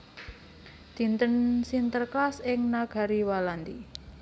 Dinten Sinterklaas ing negari Walandi